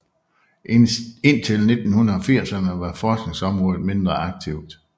Indtil 1980erne var forskningsområdet mindre aktivt